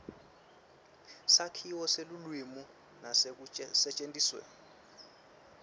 sakhiwo selulwimi nekusetjentiswa